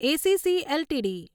ACC LTD